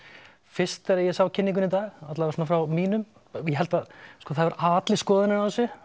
fyrst þegar ég sá kynninguna í dag alla vega svona frá mínum ég held að sko það hefur hafa allir skoðun á þessu